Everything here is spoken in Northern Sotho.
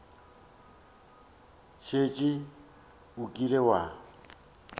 o šetše o kile wa